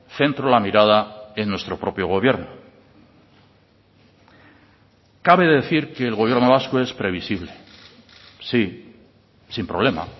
centro la mirada en nuestro propio gobierno cabe decir que el gobierno vasco es previsible sí sin problema